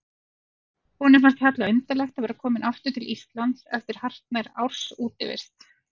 Honum fannst harla undarlegt að vera kominn aftur til Íslands eftir hartnær árs útivist.